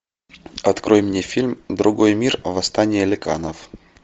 открой мне фильм другой мир восстание ликанов